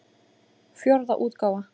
Fjórða útgáfa.